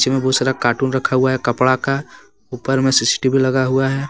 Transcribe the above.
नीचे मे बहुत सारा कार्टून रखा हुआ है कपड़ा का ऊपर मे सी_सी_टी_वी लगा हुआ है।